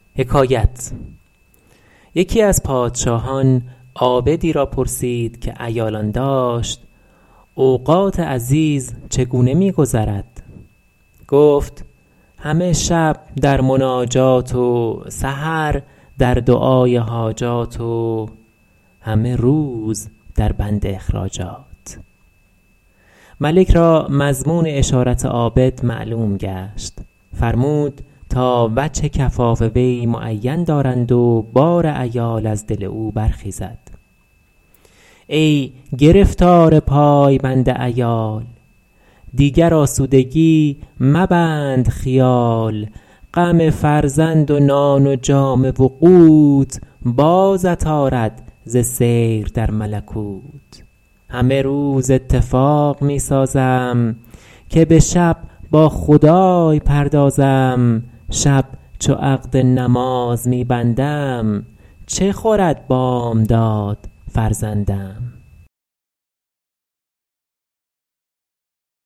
یکی از پادشاهان عابدی را پرسید که عیالان داشت اوقات عزیز چگونه می گذرد گفت همه شب در مناجات و سحر در دعای حاجات و همه روز در بند اخراجات ملک را مضمون اشارت عابد معلوم گشت فرمود تا وجه کفاف وی معین دارند و بار عیال از دل او برخیزد ای گرفتار پای بند عیال دیگر آسودگی مبند خیال غم فرزند و نان و جامه و قوت بازت آرد ز سیر در ملکوت همه روز اتفاق می سازم که به شب با خدای پردازم شب چو عقد نماز می بندم چه خورد بامداد فرزندم